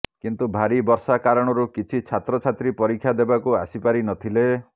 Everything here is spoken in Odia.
କିନ୍ତୁ ଭାରି ବର୍ଷା କାରଣରୁ କିଛି ଛାତ୍ରଛାତ୍ରୀ ପରୀକ୍ଷା ଦେବାକୁ ଆସିପାରି ନଥିଲେ